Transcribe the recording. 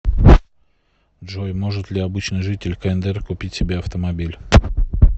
джой может ли обычный житель кндр купить себе автомобиль